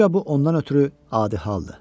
Güyə bu ondan ötrü adi haldır.